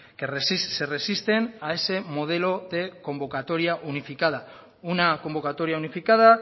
que se resisten a ese modelo de convocatoria unificada una convocatoria unificada